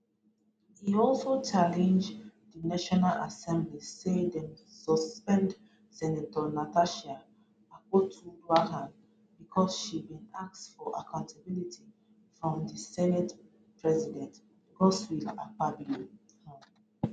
e also challenge di national assembly say dem suspend senator natasha akpotiuduaghan bicos she bin ask for accountability from di senate president godswill akpabio um